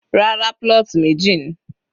Rárá, plot meji ni.